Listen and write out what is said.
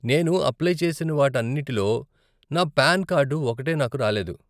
నేను అప్లై చేసిన వాటన్నిటిలో నా పాన్ కార్డు ఒక్కటే నాకు రాలేదు.